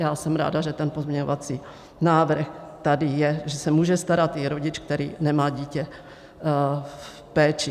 Já jsem ráda, že ten pozměňovací návrh tady je, že se může starat i rodič, který nemá dítě v péči.